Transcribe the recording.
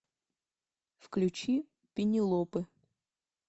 включи пенелопы